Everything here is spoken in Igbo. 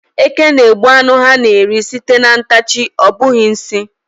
Eke na-egbu ánụ ha na-eri sìté na ntachi, ọ bụghị nsị.